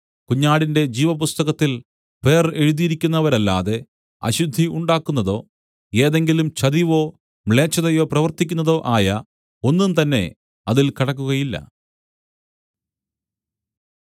കുഞ്ഞാടിന്റെ ജീവപുസ്തകത്തിൽ പേർ എഴുതിയിരിക്കുന്നവരല്ലാതെ അശുദ്ധി ഉണ്ടാക്കുന്നതോ ഏതെങ്കിലും ചതിവോ മ്ലേച്ഛതയോ പ്രവർത്തിക്കുന്നതോ ആയ ഒന്നുംതന്നെ അതിൽ കടക്കുകയില്ല